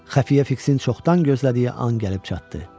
Xəfiyyə Fiksin çoxdan gözlədiyi an gəlib çatdı.